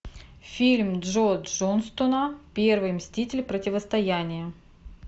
фильм джо джонстона первый мститель противостояние